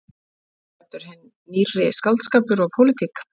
Þarna var ræddur hinn nýrri skáldskapur og pólitík.